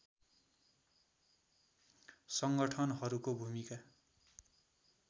सङ्गठनहरूको भूमिका